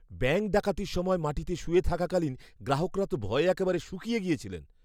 Bank ডাকাতির সময় মাটিতে শুয়ে থাকাকলীন গ্রাহকরা তো ভয়ে একেবারে শুকিয়ে গেছিলেন।